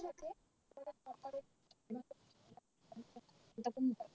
এখনতা